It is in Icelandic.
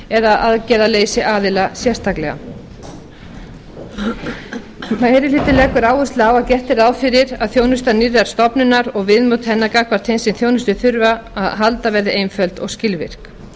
eða aðgerðaleysi aðila sérstaklega meiri hlutinn leggur áherslu á að gert er ráð fyrir að þjónusta nýrrar stofnunar og viðmót hennar gagnvart þeim sem á þjónustu þurfa að halda verði einföld og skilvirk